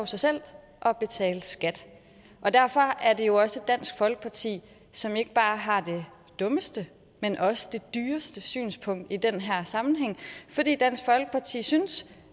sig selv og betale skat og derfor er det jo også dansk folkeparti som ikke bare har det dummeste men også det dyreste synspunkt i den her sammenhæng fordi dansk folkeparti synes